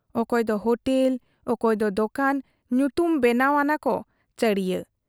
ᱚᱠᱚᱭ ᱫᱚ ᱦᱚᱴᱮᱞ, ᱚᱠᱚᱭ ᱫᱚ ᱫᱚᱠᱟᱱ ᱧᱩᱛᱩᱢ ᱵᱮᱱᱟᱣ ᱟᱱᱟᱠᱚ ᱪᱟᱹᱲᱤᱭᱟᱹ ᱾